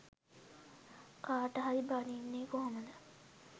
කාට හරි බනින්නේ කොහොමද.